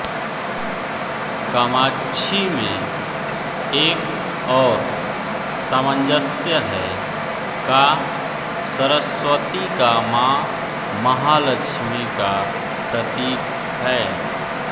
कामाक्षी में एक और सामंजस्य है का सरस्वती का मां महालक्ष्मी का प्रतीक है